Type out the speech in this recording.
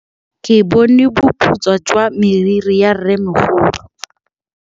Ke bone boputswa jwa meriri ya rrêmogolo.